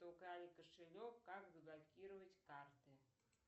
украли кошелек как заблокировать карты